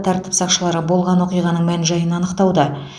тәртіп сақшылары болған оқиғаның мән жайын анықтауда